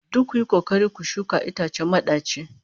Duk kuyi kokari ku shuka itacen madaci